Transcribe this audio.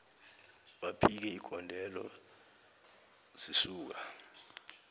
baphike igondelo zisuka